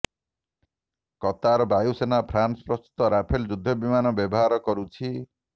Qatar ବାୟୁସେନା France ପ୍ରସ୍ତୁତ Rafale ଯୁଦ୍ଧବିମାନ ବ୍ୟବହାର କରୁଛି